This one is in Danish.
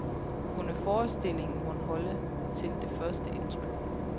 Kunne forestillingen mon holde til det første indtryk?